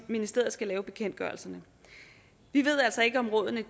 ministeriet skal lave bekendtgørelserne vi ved altså ikke om rådene